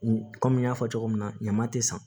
Komi n y'a fɔ cogo min na ɲama te san